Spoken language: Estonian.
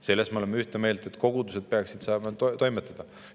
Selles me oleme ühte meelt, et kogudused peaksid saama toimetada.